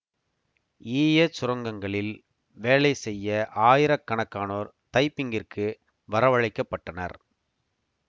ஈயச் சுரங்கங்களில் வேலை செய்ய ஆயிர கணக்கானோர் தைப்பிங்கிற்கு வர வழைக்கப் பட்டனர்